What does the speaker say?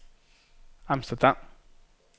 Amsterdam